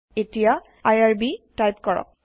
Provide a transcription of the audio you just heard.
এতিয়া IRB type কৰক